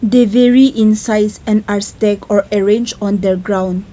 the very in size and astag or arrange on the ground.